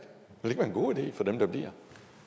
ville en god idé for dem der bliver